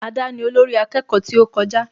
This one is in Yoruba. Ada ni olórí akẹ́kọ̀ọ́ tí ó kọjá